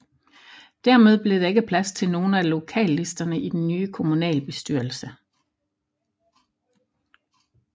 Dermed blev der ikke plads til nogen af lokallisterne i den nye kommunalbestyrelse